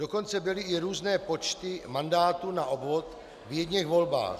Dokonce byly i různé počty mandátů na obvod v jedněch volbách.